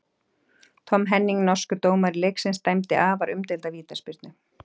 Tom Henning, norskur dómari leiksins dæmdi afar umdeilda vítaspyrnu.